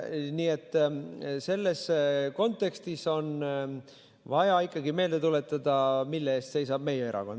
Nii et selles kontekstis on vaja ikkagi meelde tuletada, mille eest meie erakond seisab.